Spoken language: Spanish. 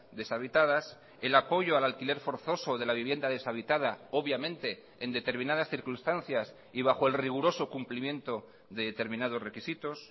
deshabitadas el apoyo al alquiler forzoso de la vivienda deshabitada obviamente en determinadas circunstancias y bajo el riguroso cumplimiento de determinados requisitos